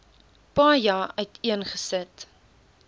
paja uiteen gesit